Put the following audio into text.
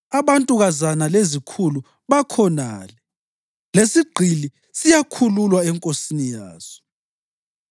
Abantukazana lezikhulu bakhonale, lesigqili siyakhululwa enkosini yaso.